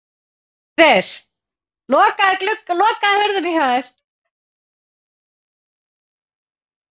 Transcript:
Er það eitthvað sem þú hefur íhugað?